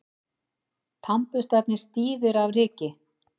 Tannburstarnir stífir af ryki.